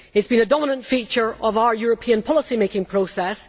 It has been a dominant feature of our European policy making process.